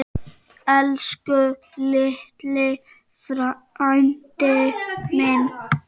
Elsku litli frændi minn.